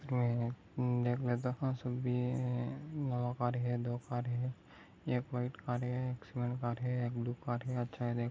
एसमे ये दो कार है दो कार है एक वाइट कार है एक सीमेंट कार है एक ब्लू क़ार है अच्छा है दे--